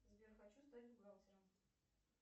сбер хочу стать бухгалтером